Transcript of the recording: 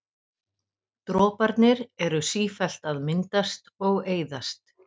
Droparnir eru sífellt að myndast og eyðast.